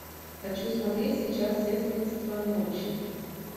хочу смотреть сейчас сестринство ночи